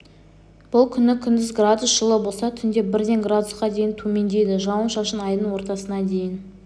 бұл күні күндіз градус жылы болса түнде бірден градусқа дейін төмендейді жауын-шашын айдың ортасына дейін